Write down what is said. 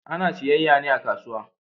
Ana siyayya ne a kasuwa.